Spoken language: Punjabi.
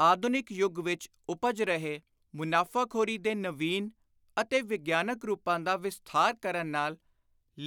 ਆਧੁਨਿਕ ਯੁਗਂ ਵਿੱਚ ਉਪਜ ਰਹੇ ਮੁਨਾਫ਼ਾਖ਼ੋਰੀ ਦੇ ਨਵੀਨ ਅਤੇ ਵਿਗਿਆਨਕ ਰੁਪਾਂ ਦਾ ਵਿਸਥਾਰ ਕਰਨ ਨਾਲ